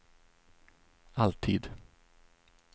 alltid